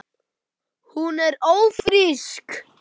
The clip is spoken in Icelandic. Hún er ÓFRÍSK!